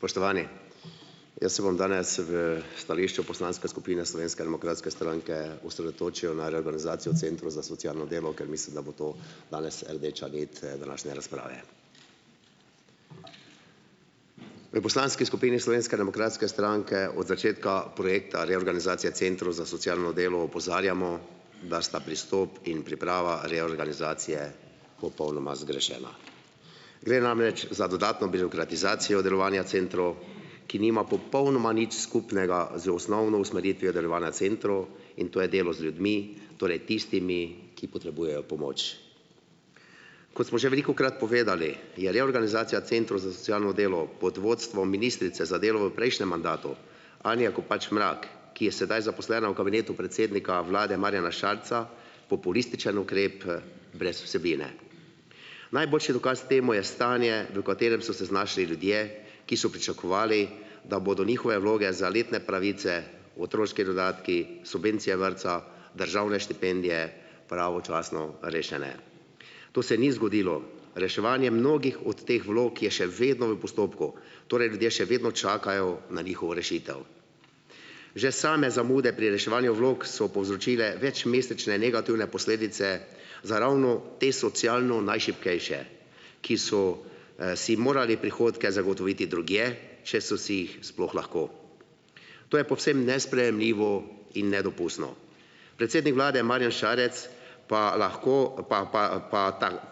Spoštovani! Jaz se bom danes v stališču poslanske skupine Slovenske demokratske stranke osredotočil na reorganizacijo centrov za socialno delo, ker mislim, da bo to danes rdeča nit, današnje razprave. V poslanski skupini Slovenske demokratske stranke od začetka projekta reorganizacije centrov za socialno delo opozarjamo, da sta pristop in priprava reorganizacije popolnoma zgrešena. Gre namreč za dodatno birokratizacijo delovanja centrov, ki nima popolnoma nič skupnega z osnovno usmeritvijo delovanja centrov, in to je delo z ljudmi, torej tistimi, ki potrebujejo pomoč. Kot smo že velikokrat povedali je reorganizacija centrov za socialno delo pod vodstvom ministrice za delo v prejšnjem mandatu Anje Kopač Mrak, ki je sedaj zaposlena v kabinetu predsednika vlade Marjana Šarca populističen ukrep brez vsebine. Najboljši dokaz temu je stanje, v katerem so se znašli ljudje, ki so pričakovali, da bodo njihove vloge za letne pravice, otroški dodatki, subvencije vrtca, državne štipendije, pravočasno rešene. To se ni zgodilo. Reševanje mnogih od teh vlog je še vedno v postopku. Torej ljudje še vedno čakajo na njihovo rešitev. Že same zamude pri reševanju vlog so povzročile večmesečne negativne posledice za ravno te socialno najšibkejše, ki so, si morali prihodke zagotoviti drugje, če so si jih sploh lahko. To je povsem nesprejemljivo in nedopustno. Predsednik vlade Marjan Šarec pa lahko pa pa pa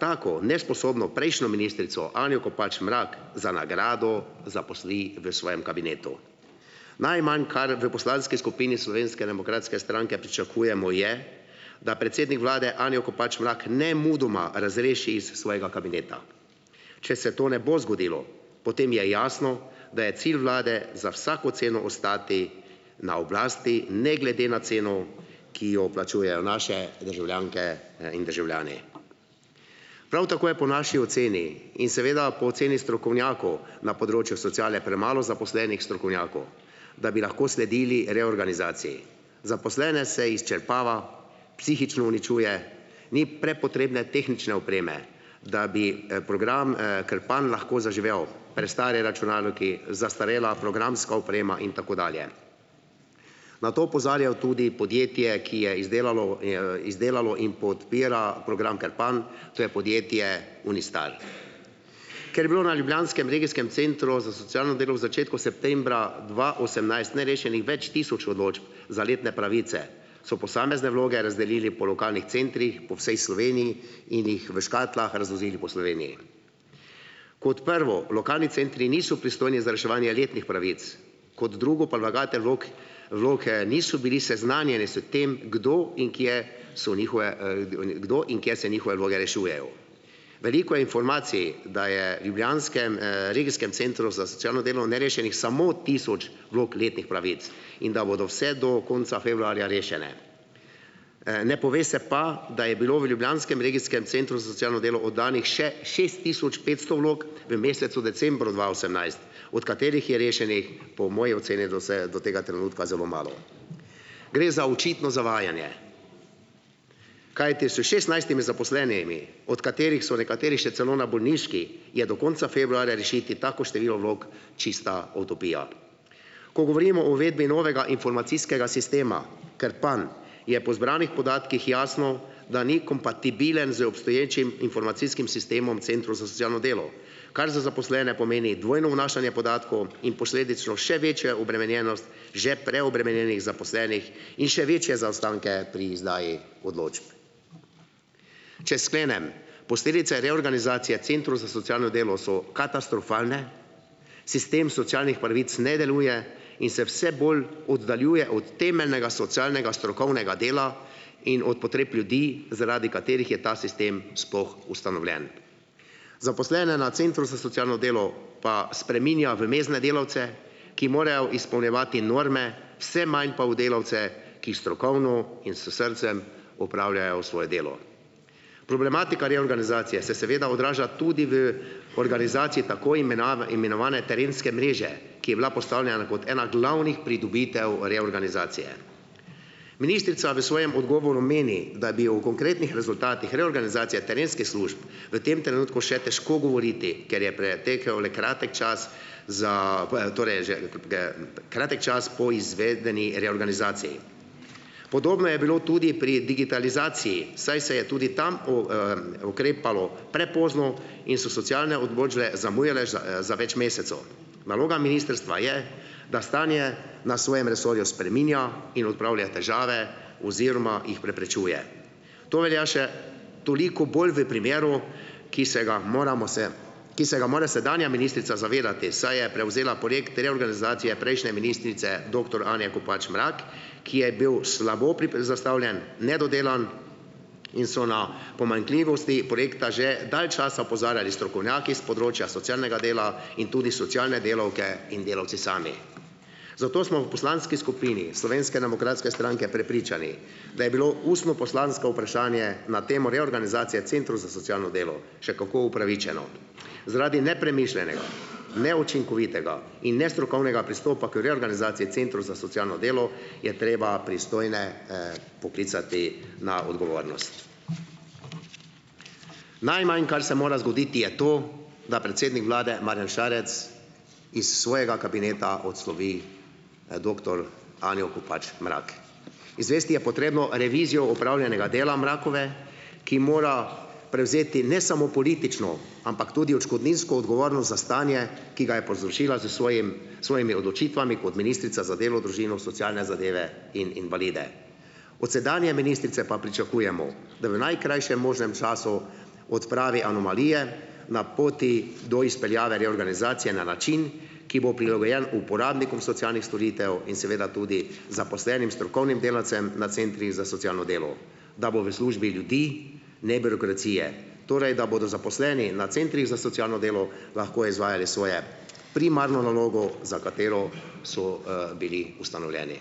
tako nesposobno prejšnjo ministrico Anjo Kopač Mrak za nagrado zaposli v svojem kabinetu. Najmanj, kar v poslanski skupini Slovenske demokratske stranke pričakujemo, je, da predsednik vlade Anjo Kopač Mrak nemudoma razreši iz svojega kabineta. če se to ne bo zgodilo, potem je jasno, da je cilj vlade za vsako ceno ostati na oblasti ne glede na ceno, ki jo plačujejo naše državljanke, in državljani. Prav tako je po naši oceni in seveda po oceni strokovnjakov na področju sociale premalo zaposlenih strokovnjakov, da bi lahko sledili reorganizaciji. Zaposlene se izčrpava, psihično uničuje, ni prepotrebne tehnične opreme, da bi, program, Krpan lahko zaživel. Prestari računalniki, zastarela programska oprema in tako dalje. Na to opozarjajo tudi podjetje, ki je izdelalo, je, izdelalo in podpira program Krpan, to je podjetje Unistar. Ker je bilo na ljubljanskem regijskem centru za socialno delo v začetku septembra dva osemnajst, nerešenih več tisoč odločb za letne pravice, so posamezne vloge razdelili po lokalnih centrih po vsej Sloveniji in jih v škatlah razvozili po Sloveniji. Kot prvo, lokalni centri niso pristojni za reševanje letnih pravic, kot drugo pa vlagatelji vlog, vloge niso bili seznanjeni s tem, kdo in kje se njihove, kdo in kje se njihove vloge rešujejo. Veliko informacij, da je v ljubljanskem, regijskem centru za socialno delo nerešenih samo tisoč vlog letnih pravic in da bodo vse do konca februarja rešene. Ne pove se pa, da je bilo v ljubljanskem regijskem centru za socialno delo oddanih še šest tisoč petsto vlog v mesecu decembru dva osemnajst, od katerih je rešenih po moji oceni do vse do tega trenutka zelo malo. Gre za očitno zavajanje, kajti s šestnajstimi zaposlenimi, od katerih so nekateri še celo na bolniški, je do konca februarja rešiti tako število vlog čista utopija. Ko govorimo o uvedbi novega informacijskega sistema Krpan, je po zbranih podatkih jasno, da ni kompatibilen z obstoječim informacijskim sistemom centrov za socialno delo. Kar za zaposlene pomeni dvojno vnašanje podatkov in posledično še večjo obremenjenost že preobremenjenih zaposlenih in še večje zaostanke pri izdaji odločb. Če sklenem, posledice reorganizacije centrov za socialno delo so katastrofalne, sistem socialnih pravic ne deluje in se vse bolj oddaljuje od temeljnega socialnega strokovnega dela in od potreb ljudi, zaradi katerih je ta sistem sploh ustanovljen. Zaposlene na centru za socialno delo pa spreminja v mezdne delavce, ki morajo izpolnjevati norme, vse manj pa v delavce, ki strokovno in s srcem opravljajo svoje delo. Problematika reorganizacije se seveda odraža tudi v organizaciji tako imenovane terenske mreže, ki je bila postavljena kot ena glavnih pridobitev reorganizacije. Ministrica v svojem odgovoru meni, da bi o konkretnih rezultatih reorganizacije terenskih služb v tem trenutku še težko govoriti, ker je pretekel le kratek čas za ... torej že kratek čas po izvedbeni reorganizaciji. Podobno je bilo tudi pri digitalizaciji, saj se je tudi tam o, ukrepalo prepozno in so socialne odločbe zamujale za, za več mesecev. Naloga ministrstva je, da stanje na svojem resorju spreminja in odpravlja težave oziroma jih preprečuje. To velja še toliko bolj v primeru, ki se ga moramo ki se ga mora sedanja ministrica zavedati, saj je prevzela projekt reorganizacije prejšnje ministrice, doktor Anje Kopač Mrak, ki je bil slabo zastavljen, nedodelan in so na pomanjkljivosti projekta že dalj časa opozarjali strokovnjaki s področja socialnega dela in tudi socialne delavke in delavci sami. Zato smo v poslanski skupini Slovenske demokratske stranke prepričani, da je bilo ustno poslansko vprašanje na temo reorganizacije centrov za socialno delo še kako upravičeno. Zaradi nepremišljenega, neučinkovitega in nestrokovnega pristopa k reorganizaciji centrov za socialno delo, je treba pristojne, poklicati na odgovornost. Najmanj, kar se mora zgoditi, je to, da predsednik vlade Marjan Šarec iz svojega kabineta odslovi, doktor Anjo Kopač Mrak. Izvesti je potrebno revizijo opravljenega dela Mrakove, ki mora prevzeti ne samo politično, ampak tudi odškodninsko odgovornost za stanje, ki ga je povzročila s svojimi, svojimi odločitvami kot ministrica za delo, družino, socialne zadeve in invalide. Od sedanje ministrice pa pričakujemo, da v najkrajšem možnem času odpravi anomalije na poti do izpeljave reorganizacije na način, ki bo prilagojen uporabnikom socialnih storitev in seveda tudi zaposlenim strokovnim delavcem na centrih za socialno delo, da bo v službi ljudi, ne birokracije. Torej, da bodo zaposleni na centrih za socialno delo lahko izvajali svoje primarno nalogo, za katero so, bili ustanovljeni.